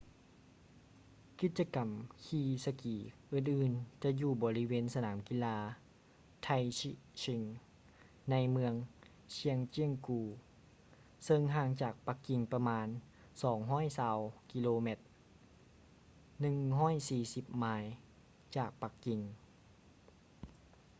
ກິດຈະກຳຂີ່ສະກີອື່ນໆຈະຢູ່ບໍລິເວນສະໜາມກິລາ taizicheng ໃນເມືອງ zhangjiakou ເຊິ່ງຫ່າງຈາກປັກກິ່ງປະມານ 220 ກິໂລແມັດ 140 ໄມລ໌ ຈາກປັກກິ່ງ